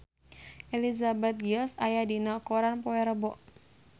Elizabeth Gillies aya dina koran poe Rebo